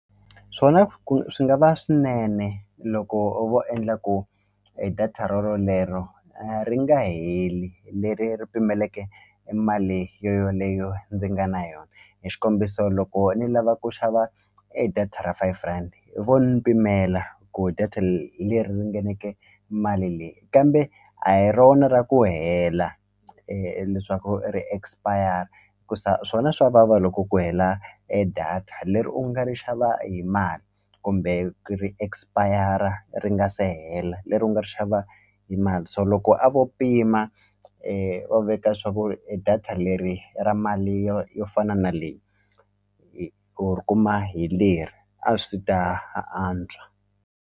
Swona ku swi nga va swinene loko vo endla ku data rorolero ri nga heli leri ri pimeleke e mali yo yoleyo ndzi nga na yona hi xikombiso loko ni lava ku xava e data ra five rhandi vo ni pimela ku data hi leri ringaneke mali leyi kambe a hi rona ra ku hela leswaku ri expire hikusa swona swa vava loko ku hela e data leri u nga ri xava hi mali kumbe ri expire ri nga se hela leri u nga ri xava hi mali se loko a vo pima u veka swa ku e data leri ra mali yo yo fana na leyi u ri kuma hi leri a swi ta antswa.